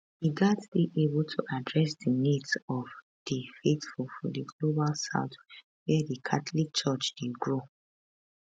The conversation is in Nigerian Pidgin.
e gatz dey able to address di needs of di faithful for di global south wia di catholic church dey grow